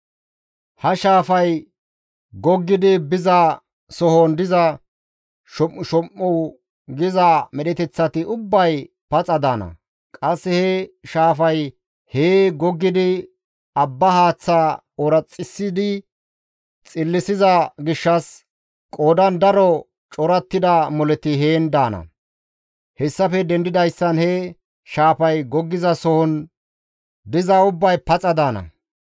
Ha shaafay goggidi biza sohon diza, shom7ushom7u giza medheteththati ubbay paxa daana; qasse he shaafay hee goggidi abba haaththaa ooraxissidi xillisiza gishshas, qoodan daro corattida moleti heen daana. Hessafe dendidayssan he shaafay goggizason dizay ubbay paxa daana.